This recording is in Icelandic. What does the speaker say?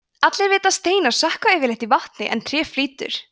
allir vita að steinar sökkva yfirleitt í vatni en tré flýtur